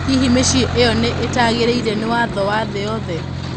Hihi mĩciĩ ĩyo nĩ ĩtagĩrĩire nĩ watho wa thĩ yothe?